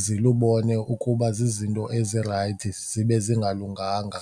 zilubone ukuba zizinto ezirayithi zibe zingalunganga.